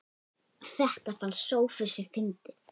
Þetta fannst Sófusi fyndið.